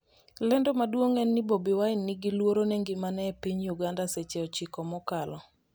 lendo maduong' en ni Bobi Wine 'ni gi luoro ne ngimane' e piny Uganda seche 9 mokalo